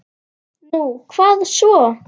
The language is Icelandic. Nú, hvað svo?